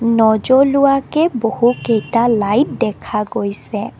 নজ্বলোৱাকে বহুকেইটা লাইট দেখা গৈছে।